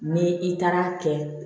Ni i taara kɛ